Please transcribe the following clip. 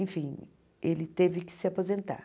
Enfim, ele teve que se aposentar.